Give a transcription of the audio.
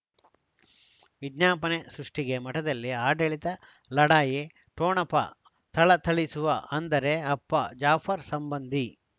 ವಿಜ್ಞಾಪನೆ ಸೃಷ್ಟಿಗೆ ಮಠದಲ್ಲಿ ಆಡಳಿತ ಲಢಾಯಿ ಠೊಣಪ ಥಳಥಳಿಸುವ ಅಂದರೆ ಅಪ್ಪ ಜಾಫರ್ ಸಂಬಂಧಿ